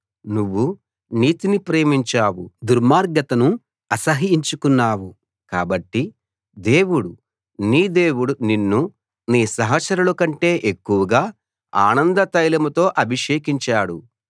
నువ్వు నీతిని ప్రేమించావు దుర్మార్గతను అసహ్యించుకున్నావు కాబట్టి దేవుడు నీ దేవుడు నిన్ను నీ సహచరులకంటే ఎక్కువగా ఆనందతైలంతో అభిషేకించాడు